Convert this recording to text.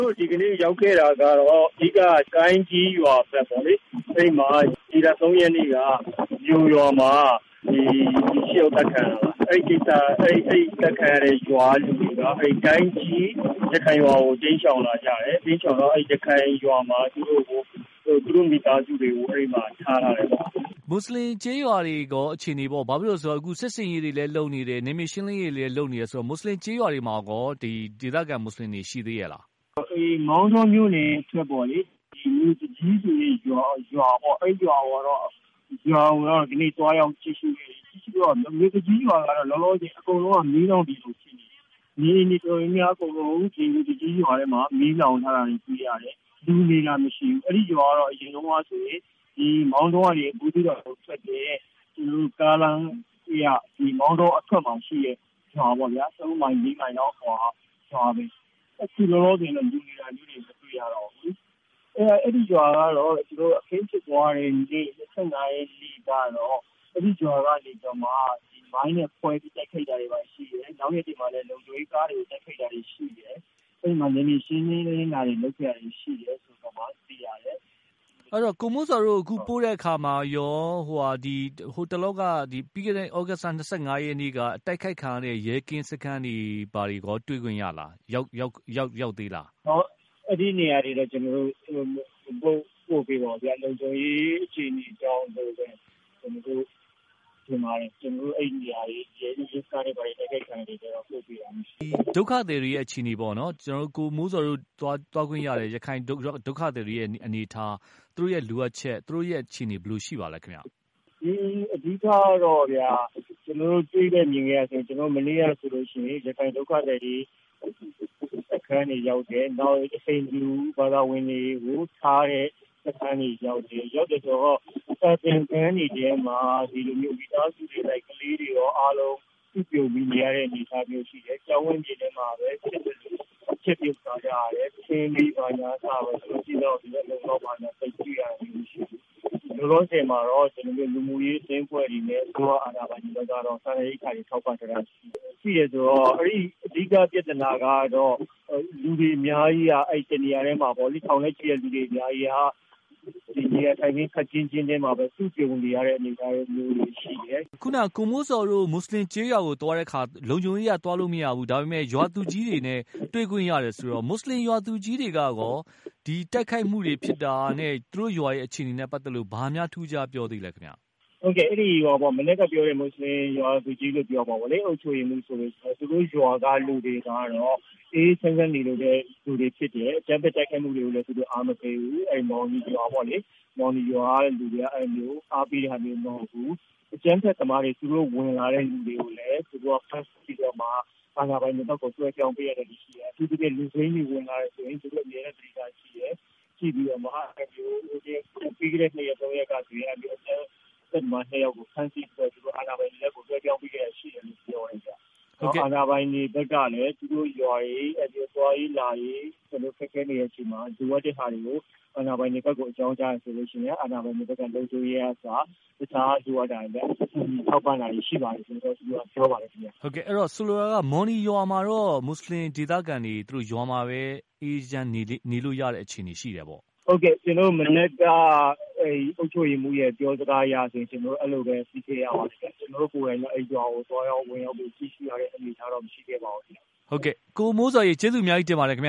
ို့ဒီကနေ့ရောက်ခဲ့တာကတော့ အဓိကတော့ ကိုင်းကြီးကျေးရွာပေါ့လေ၊ အဲဒီမှာ ဒီလ ၃ ရက်နေ့က မြိုရွာမှာ လူ ၆ ယောက်အသက်ခံရတာပါ။ အဲဒီကအသတ်ခံရတဲ့ ရွာက လူတွေက ကိုင်းကြီးရခိုင်ရွာကို ထွက်ပြေးတိမ်းရှောင်လာကြတယ်။ အဲဒီလိုထွက်ပြေးတိမ်းရှောင်တော့ ရခိုင်ရွာမှာ သူတို့မိသားစုတွေကို အဲဒီမှာ ထားထားတယ်ပေါ့နော်။ ကိုသားညွှန့်ဦး။ ။မွတ်ဆလင်ကျေးရွာအခြေအနေတွေရော ၊ အခု စစ်ဆင်ရေးတွေလည်းလုပ်နေတယ်။ နယ်မြေရှင်းလင်းရေးတွေလည်းလုပ်နေတယ်ဆိုတော့ မွတ်ဆလင်ကျေးရွာတွေမှာရော ဒီဒေသခံမွတ်ဆလင်တွေရော ရှိသေးရဲ့လား။ ကိုမိုးဇော်။ ။ဒီမောင်တောမြို့အထွက်ပေါ့လေ မြို့သူကြီးရွာကိုတော့ ဒီကနေ့ သွားရောက်ကြည့်ရှု့ခဲ့တယ်။ မြို့သူကြီးရွာကတော့ လောလောဆယ်အကုန်လုံးမီးလောင်ပြီးဖြစ်နေတယ်။ နေအိမ်တွေတော်တော်များများ အကုန်လုံး ဒီမြို့သူကြီးရွာမှာ မီးလောင်ထားတာတွေ့ရတယ် လူတွေမရှိဘူး။ အဲဒီရွာကအရင်တုန်းကဆိုရင် မောင်တောကနေ ဘူးသီးတောင်ကိုထွက်တဲ့ ကားလမ်းဘေးက မောင်တောအထွက်မှာရှိတဲ့ ရွာပေါ့ဗျာ ၃ မိုင် ၄ မိုင်လောက်အကွာရွာပဲ ။ အခုလောလောဆယ်တော့ လူနေတာမျိုးတွေမတွေ့ရတော့ဘူး။အဲဒီရွာကတော့ ကျနော်တို့ အခင်းဖြစ်ပွားတဲ့နေ့ ၂၅ ရက်နေ့မှာ အဲဒီရွာမှာ မိုင်းခွဲပြီးတော့ တိုက်ခိုက်တာတွေရှိတယ်။ နောက်ရက်တွေမှာလည်း လုံခြုံရေးကားတွေကို တိုက်ခိုက်တာတွေရှိတယ်။ အဲဒီမှာ နယ်မြေရှင်းလင်းတာတွေ လုပ်ခဲ့ရတာတွေရှိတယ် ဆိုပြီးသိရတယ်။ ကိုသားညွှန့်ဦး။ ။ဆိုတော့ ကိုမိုးဇော်တို့ကို ပို့တဲ့အခါမှာ ပြီးခဲ့တဲ့ သြဂုတ်လ ၂၅ ရက်နေ့က အတိုက်ခံရတဲ့ ရဲကင်းစခန်းတွေ ရောတွေ့ခွင့်ရလား၊ ရောက်သေးလား။ ကိုမိုးဇော်။ ။အဲဒီနေရာတွေတော့ ကျနော်တို့ လုံခြုံရေး အခြေအနေကြောင့် အဲဒီရဲကင်း ရဲစခန်းတွေ ကိုကျတော့ သွားရောက်တာမရှိပါဘူး။ ကိုသားညွှန့်ဦး။ ။ဒုက္ခသည်တွေအခြေအနေပေါ့နော် ကိုမိုးဇော်တို့သွားတွေ့ခွင့်ရတဲ့ ရခိုင် ဒုက္ခသည်တွေ အခြေအနေ၊ အနေအထား၊ သူတို့လိုအပ်ချက် အခြေအနေဘယ်လိုရှိပါသလဲခင်ဗျ။ ကိုမိုးဇော်။ ။အဓိကတော့ ကျနော်တို့ တွေ့ခဲ့မြင်ခဲ့ရတာဆိုရင် မနေ့ကဆိုရင် ရခိုင် ဒုက္ခသည်တွေရဲ့ စခန်းတွေရောက်တယ်၊ နောက် ဟိန္ဒူ သာသာဝင်တွေကိုထားတဲ့ စခန်းတွေရောက်တယ်။ ရောက်တယ်ဆိုတော့ စာသင်ခန်းတွေအထဲမှာ မိသားစုတွေ၊ ကလေးတွေ ဒီလိုမျိုး အားလုံးစုပြုံပြီးနေရတဲ့အနေအထားမျိုးရှိတယ်။ ကျောင်းဝင်းပြင်မှာပဲ ဖြစ်သလို ချက်ပြုတ်စားသောက်ကြတယ်။ သူတို့လုံလုံလောက်လောက်ရှိတဲ့အနေအထားမျိုးတွေတော့မရှိဘူး။ လောလောဆယ်မှာတော့ လူမှုရေးအသင်းအဖွဲ့တွေနဲ့ အာဏာပိုင်တွေဘက်ကကတော့ စားနပ်ရိက္ခတွေထောက်ပံ့ထားတာတွေတော့ရှိတယ်။ အဓိကပြဿနာကတော့ ထောင်နဲ့ချီတဲ့ လူတွေအများကြီးက အဲဒီ ၁ နေရာထဲမှာပေါ့လေ နေရာထိုင်ခင်းကျဉ်းကျဉ်းလေးမှာပဲ စုပြုံပြီးတော့ နေထိုင်ရတဲ့ အနေအထားမျိုးတွေရှိတယ်။ ကိုသားညွှန့်ဦး။ ။မွတ်ဆလင်ကျေးရွာကိုသွားတဲ့အခါ လုံခြုံရေးအရသွားလို့မရဘူး ဒါပေမယ့် ရွာသူကြီးတွေနဲ့ တွေ့ခွင့်ရတယ်ဆိုတော့ မွတ်ဆလင်ရွာသူကြီးတွေကရော ဒီတိုက်ခိုက်မှုတွေ ဖြစ်တာနဲ့ သူတို့ရွာအခြေအနေနဲ့ ပတ်သက်ပြီးတော့ ဘာများထူးထူးခြားခြားပြောသေးလဲခင်ဗျ။ ကိုမိုးဇော်။ ။ဟုတ်ကဲ့ ခုနကပြောတဲ့ မွတ်ဆလင်ရွာသူကြီးတွေလို့ပြောရမှာပေါ့လေ မှာ သူတို့ရွာတွေကတော့ အေးအေးချမ်းချမ်းနေတဲ့ရွာတွေဖြစ်တယ်၊ အကြမ်းဖက်တိုက်ခိုက်မူတွေကိုလည်း သူတို့အားမပေးဘူး မော်နီရွာပေါ့လေ။ အဲဒီရွာကလူတွေက အဲလိုမျိုးအားပေးတဲ့ဟာတွေတော့မဟုတ်ဘူး။ အကြမ်းဖက်သမားတွေသူတို့ဝင်လာတဲ့လူတွေကိုလည်း ဖမ်းဆီးပြီး အာဏာပိုင်တွေဘက်ကို လွဲပြောင်းပေးတာတွေရှိတယ်။ အထူးသဖြင့် လူစိမ်းတွေဝင်လာတယ်ဆိုရင် သူတို့အမြဲတမ်းသတိထားကြည့်တယ်။ ပြီးခဲ့တဲ့ ၂ ရက် ၃ ရက်ကဆိုရင် အကြမ်းဖက်သမား ၂ ယောက်ကိုဖမ်းပြီးတော့ သူတို့အာဏာပိုင်တွေကို လွဲပြောင်းပေးတာတွေရှိတယ်။အာဏာပိုင်တွေဘက်ကလည်း သူတို့ရွာတွေ သွားရေးလာရေး ခက်ခဲနေတဲ့အချိန်မှာ လိုအပ်တာတွေကို အကြောင်းကြားရင် အာဏာပိုင်တွေဘက်ကလည်းလုံခြုံရေးအစ ရွာခံတွေကို ကူညီထောက်ပံ့တာတွေရှိပါတယ် ဆိုပြီးပြောပါတယ်ခင်ဗျ။ ကိုသားညွှန့်ဦး။ ။ဟုတ်ကဲ့ မော်နီရွာမှာ မွတ်ဆလင်ဒေသခံတွေကတော့ ရွာမှာပဲ အေးအေးချမ်းချမ်းနေလို့ရတဲ့အခြေအနေတွေရှိတယ်ပေါ့။ ကိုမိုးဇော်။ ။ဟုတ်ကဲ့ မနက်က အုပ်ချုပ်ရေးမှူးရဲ့ ပြောစကားအရဆိုရင် ကျနော်တို့အဲလိုပဲ စိစစ်ရပါလိမ့်မယ်။ ကျနော်တို့ အဲဒီလို ရွာကို ဝင်ရောက်တဲ့အနေအထားတော့မရှိခဲ့ပါဘူး။ ကိုသားညွှန့်ဦး။ ။ကိုမိုးဇော်ရေ ကျေးဇူးအများကြီးတင်ပါတယ်ခင်ဗ